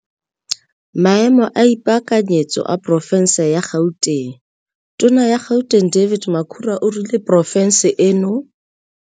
Maemo a ipaakanyetso a porofense ya GautengTona ya Gauteng David Makhura o rile porofense eno.